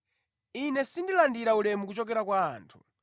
“Ine sindilandira ulemu kuchokera kwa anthu